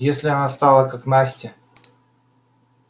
если она стала как настя